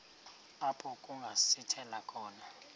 apho kungasithela khona